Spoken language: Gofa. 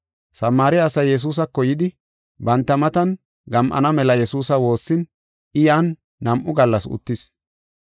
Samaare asay Yesuusako yidi, banta matan gam7ana mela Yesuusa woossin I yan nam7u gallas uttis.